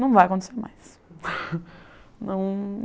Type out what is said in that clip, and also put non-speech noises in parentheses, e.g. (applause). Não vai acontecer mais. (laughs) Não